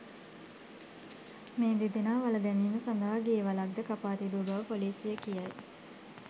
මේ දෙදෙනා වළ දැමීම සඳහා ගේ වළක් ද කපා තිබු බව පොලීසිය කියයි.